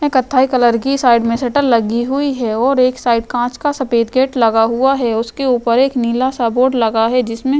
कत्थई कलर की साइड में शटर लगी हुई है और एक साइड काँच का सफेद गेट लगा हुआ है। उसके ऊपर एक नीला-सा बोर्ड लगा है जिसमें -